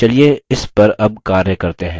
चलिए इस पर अब कार्य करते हैं